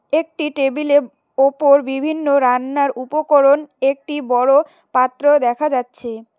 একটি টেবিল -এর ওপর বিভিন্ন রান্নার উপকরণ একটি বড় পাত্র দেখা যাচ্ছে।